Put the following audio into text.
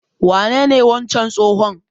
Wanene wancan tsohon?